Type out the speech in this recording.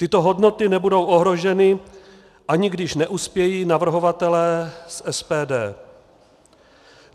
Tyto hodnoty nebudou ohroženy, ani když neuspějí navrhovatelé z SPD.